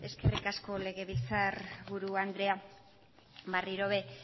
eskerrik asko legebiltzarburu andrea